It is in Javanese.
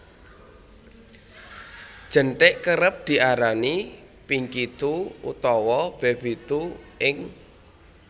Jenthik Kerep diarani Pinky toe utawa Baby toe ing